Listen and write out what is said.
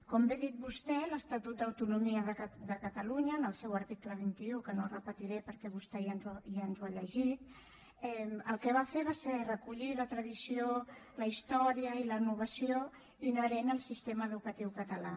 com bé ha dit vostè l’estatut d’autonomia de catalunya en el seu article vint un que no repetiré perquè vostè ja ens l’ha llegit el que va fer va ser recollir la tradició la història i la innovació inherent al sistema educatiu català